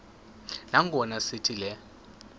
nangona sithi le